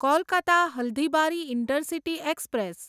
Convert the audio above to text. Kolkata Haldibari intercity express